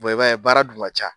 i b'a ye baara dun ca.